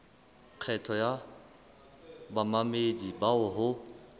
kgetho ya bamamedi bao ho